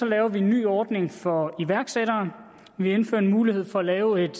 laver vi en ny ordning for iværksættere vi indfører en mulighed for at lave et